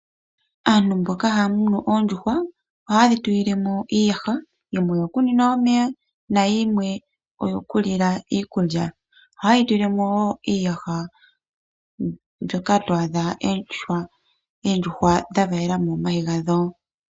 Aantu mboka haya munu oondjuhwa ohaye dhi tu lile mo iiyaha yimwe oyo ku nwina omeya nayimwe oyo ku li la iikulya. Ohaye yi tu lile mo wo iiyaha mbyoka to adha oondjuhwa dha valela omayi gadho.